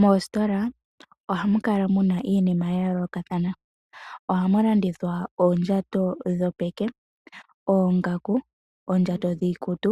Moositola ohamu kala muna iinima ya yoolokathana. Ohamu landithwa oondjato dhopeke, oongaku, oondjato dhiikutu,